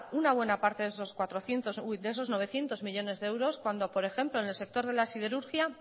una buena parte de esos novecientos millónes de euros cuando por ejemplo en el sector de la siderurgia